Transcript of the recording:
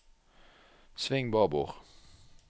sving babord